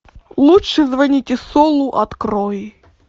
лучше звоните солу открой